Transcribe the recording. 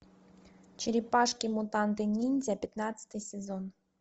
черепашки мутанты ниндзя пятнадцатый сезон